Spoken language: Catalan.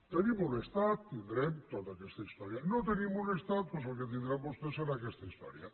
tenim un estat tindrem tota aquesta història no tenim un estat doncs el que tindran vostès serà aquesta història